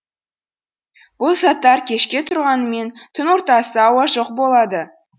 бұл заттар кешке тұрғанымен түн ортасы ауа жоқ болады